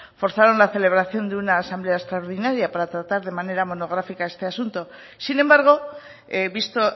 forzaron la celebración de una asamblea extraordinaria para tratar de manera monográfica este asunto sin embargo visto